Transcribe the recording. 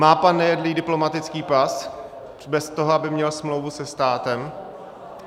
Má pan Nejedlý diplomatický pas bez toho, aby měl smlouvu se státem?